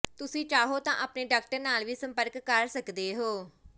ਤੁਸੀ ਚਾਹੋ ਤਾਂ ਆਪਣੇ ਡਾਕਟਰ ਨਾਲ ਵੀ ਸੰਪਰਕ ਕਰ ਸਕਦੇ ਹੋ